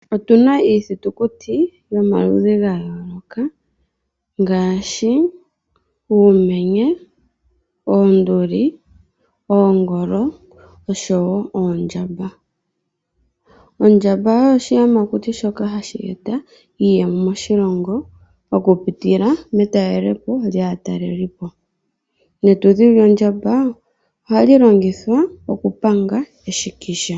Otuna iithitukuti yomaludhi gayoloka uumenye, oonduli, oongolo oshowo oondjamba. Ondjamba oyo oshiyamakuti shoka hashi eta iiyemo moshilongo oku pitila metalelopo lyaatalelipo. Netudhi lyondjamba ohali lingithwa oku panga eshikisha.